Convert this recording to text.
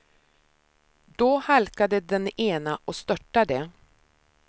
Då halkade den ena och störtade.